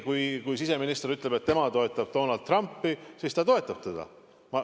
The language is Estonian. Kui siseminister ütleb, et tema toetab Donald Trumpi, siis ta toetab teda.